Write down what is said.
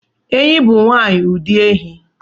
Ehi bụ nwanyi ụdị ehi